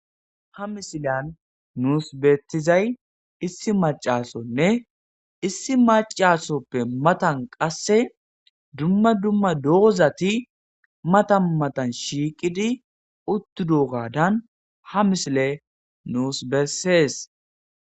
ha misilan nuus beettizay issi macasonne issi macasoppe matan qasse dumma dumma doozati matan matan shiiqidi uttudo gadan ha misile nuus bessees